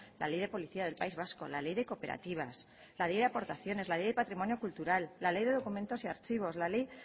la ley de policía del país vasco la ley de cooperativas la ley de aportaciones la ley de patrimonio cultural la ley de documentos y archivos la ley